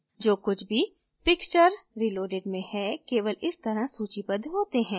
जो कुछ भी pixture reloaded में है केवल इस तरह सूचीबद्ध होते है